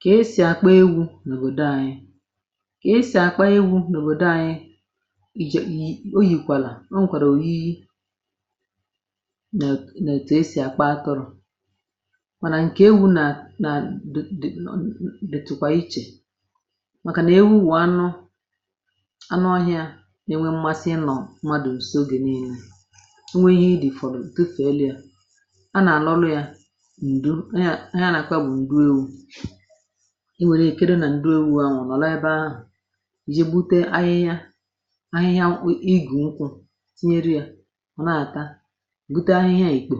kà e sì àkpọ egwu̇ nà òbòdo ànyị, um kà e sì àkpọ egwu̇ nà òbòdo ànyị, eh iji̇ o yìkwàlà o nwèkwàrà òyiyi nà ètù e sì àkpọ atọrọ̀, ah mànà ǹkè egwu̇ nà, nà dị̀ dị̀, nọ̀ dị̀tụkwà ichè, màkà nà ewu wụ̀ anụ, anụ ohia, eh nà e nwe mmasị ịnọ̀ mmadù ùso gi̇ n’ihu, i nwèrè ike di nà ǹdu, ewu̇ ahụ̀ nọ̀ laė bụ̀ ahụ̀ ìje, eh bute ahịhịa, ahịhịa mkpụ nkwụ̇ tinye ya, ọ̀ na-àta, um bute ahịhịa ìkpò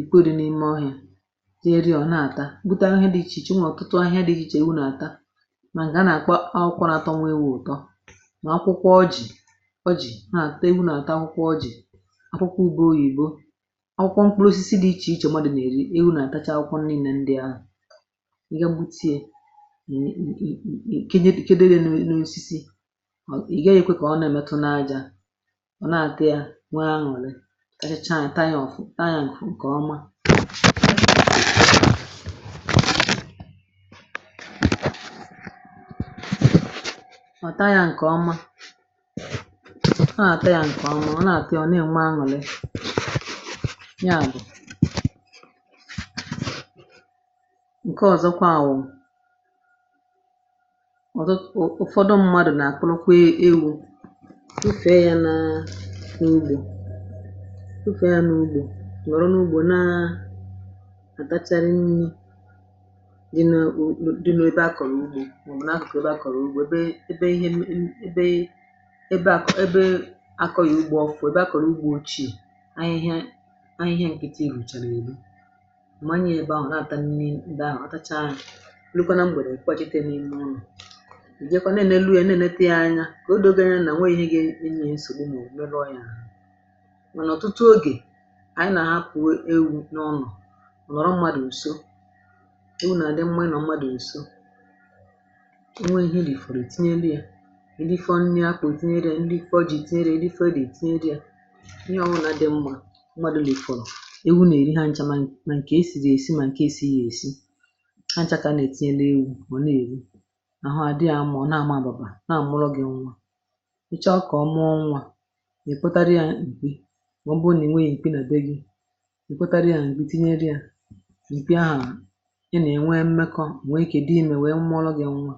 ìkpoè di n’ime ọhịȧ, tinye ya, ọ̀ na-àta, bute ahịhịa di ichè ichè, mwà ọ̀ kụtụ ahịhịa di ichè, iwu nà-àta, eh mà a nà-àkwa akwụkwọ nà-atọ nwa ewu̇, ọ̀ tọ, mà akwụkwọ ọjị̀ ọjị̀ a, ah kutu ebu̇ nà-àta akwụkwọ ọjị̀, akwụkwọ ube oyi̇bo, ị ge gbutie, kenyeetụ kedua n’osisi, ọ̀ ị̀ gaghị̇ yà kwè, kà ọ na-emetụ n’ajȧ, ọ na-àte ya, eh nwee anwụ̀lị̀ taa, hịchaa ǹtaanị̇ ọ̀fụ̀, taa yà ǹkèọma, ọ̀ taa yà ǹkèọma, taa yà ǹkèọma, ọ na-àtị ya, ọ̀ nà-ème anwụ̀lị ǹke, ọ̀zọkwa wụ̀ ọ̀zọ ụ̀, eh ụfọdụ mmadù nà àkwụnukwu ewu̇, ufė ya nà n’ugbȯ, ufė ya n’ugbȯ, nwèrè n’ugbȯ, na-àbachara nri̇ di nȧ dịnụ̇, ebe akọ̀rọ̀ ugbȯ nwè, um m̀a nà-akọ̀kọ̀ ebe akọ̀rọ̀ ugbȯ, ebe ihe, ebe, ebe akọ̀, ebe akọ̇ yà ugbȯ, ọ̀ bụ̀ ebe akọ̀rọ̀ ugbȯ chi̇, à n’ihe, à n’ihe ǹkịtị enùcha, nà ebi nukwa nà m gbèrè nkwàjite, n’ime ụnọ̀, ǹjekwa na-enelu ya, na-enete ya anya, kà o dogere nà nwee ihe nsogbù n’òbòo rọ̀ ya, eh mà nà ọ̀tụtụ ogè ànyị nà-apụ̀ ewu̇ n’ọnọ̀, ọ̀ nọ̀rọ m̀madụ̀ ǹso, ewu nà-àdị mmȧ i nà ọ m̀madụ̇, ǹso ewu nà-àdị mmȧ i nà ọ m̀madụ̇, ǹso ewu nà-èhi rìfòrò, tinye elu̇ ya èrifo nri apụ̀, tinye riė ǹri, fọjì tinye ri, erifo rì tinye ri ya, ihe ọwụnà dị mmȧ mmadụ̇ rìfọ̀rọ̀ hachakȧ nà-ètinye n’ewù, bụ̀ nà-èbe, nà hụ àdị yȧ amụọ, eh na-àmadụ̇bà, na-àmụrụ gị̇ nwà, ịchọ kọ̀ọ mụọ nwà, gà-èpụtara ya ǹkpị, mà ọ bụrụ nà ìnwe yȧ èpị nà be gị̇, ị kwȧtara ya ǹkpị, tinyere yȧ ìpịa, nà-ènwe mmekọ̇, eh nwee kèdụ imė, nwee mmụ̇ọlụ̇ gị̇ nwa.